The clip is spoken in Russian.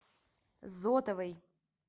зотовой